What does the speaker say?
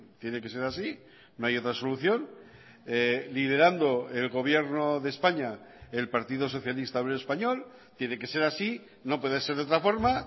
tiene que ser así no hay otra solución liderando el gobierno de españa el partido socialista obrero español tiene que ser así no puede ser de otra forma